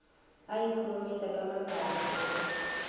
a ikhurumetša ka mapai mokopu